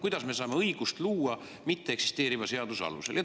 Kuidas me saame õigust luua mitteeksisteeriva seaduse alusel?